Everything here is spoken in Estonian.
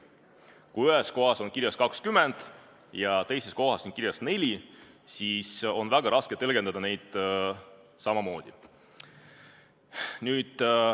Kui ühes kohas on kirjas 20 ja teises kohas 4, siis on väga raske tõlgendada neid samamoodi.